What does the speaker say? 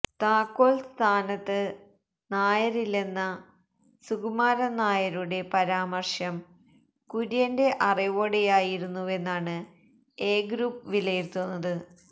താക്കോൽ സ്ഥാനത്ത് നായരില്ലെന്ന സുകുമാരൻ നായരുടെ പരാമർശം കുര്യന്റെ അറിവോടെയായിരുന്നുവെന്നാണ് എ ഗ്രൂപ്പ് വിലയിരുത്തുന്നത്